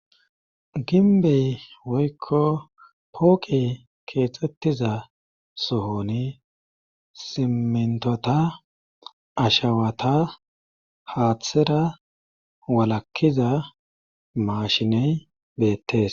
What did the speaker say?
ginbey woykko pooqey keexettiza sohoni simentota ashawata haaththera walakkiza maashiney beettes